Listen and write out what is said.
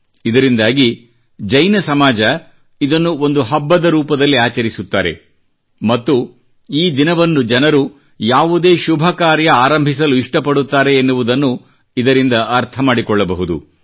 ಇದರಿಂದಾಗಿ ಜೈನ ಸಮಾಜ ಇದನ್ನು ಒಂದು ಹಬ್ಬದ ರೂಪದಲ್ಲಿ ಆಚರಿಸುತ್ತಾರೆ ಮತ್ತು ಈ ದಿನವನ್ನು ಜನರು ಯಾವುದೇ ಶುಭ ಕಾರ್ಯ ಆರಂಭಿಸಲು ಇಷ್ಟ ಪಡುತ್ತಾರೆ ಎನ್ನುವುದನ್ನು ಇದರಿಂದ ಅರ್ಥ ಮಾಡಿಕೊಳ್ಳಬಹುದು